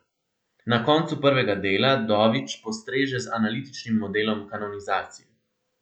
Na koncu prvega dela Dović postreže z analitičnim modelom kanonizacije.